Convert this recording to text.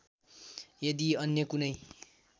यदि अन्य कुनै